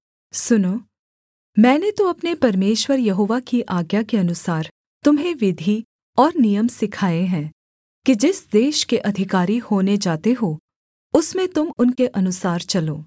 सुनो मैंने तो अपने परमेश्वर यहोवा की आज्ञा के अनुसार तुम्हें विधि और नियम सिखाए हैं कि जिस देश के अधिकारी होने जाते हो उसमें तुम उनके अनुसार चलो